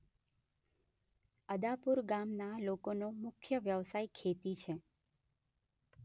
અદાપુર ગામના લોકોનો મુખ્ય વ્યવસાય ખેતી છે.